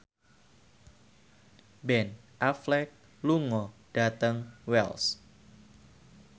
Ben Affleck lunga dhateng Wells